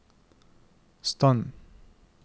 stand